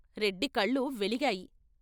రెడ్డి కళ్ళు వెలిగాయి.